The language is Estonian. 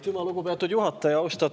Aitüma, lugupeetud juhataja!